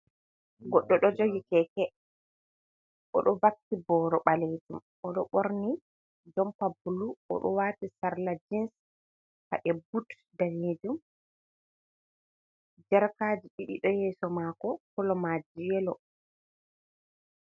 Goɗɗo do jogi keke odo vakki boro balejum, odo borni jompa blu odo wati sarla jins baɗe but danejum jarkaji ɗiɗo hayeso mako colomaji yelo.